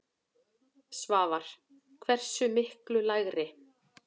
Svavar: Hversu miklu lægri?